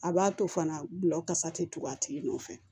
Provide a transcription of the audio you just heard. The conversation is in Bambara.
A b'a to fana gulɔ kasa tɛ tugu a tigi nɔfɛ